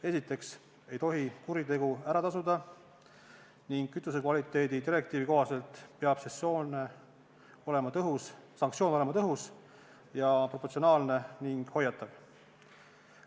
Esiteks ei tohi kuritegu ära tasuda ning kütuse kvaliteedi direktiivi kohaselt peab sanktsioon olema tõhus, proportsionaalne ning hoiatav.